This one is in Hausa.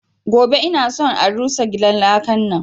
Gobe ina son a rusa gidan lakan nan!